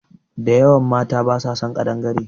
Da yawan mata basa son ƙadangare